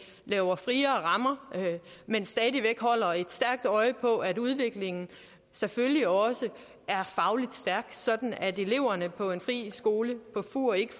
giver friere rammer men stadig væk holder et stærkt øje på at udviklingen selvfølgelig også er faglig stærk sådan at eleverne på en fri skole på fur ikke